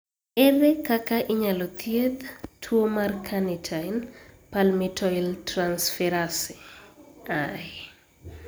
Ere kaka inyalo thiedh tuwo mar carnitine palmitoyltransferase I?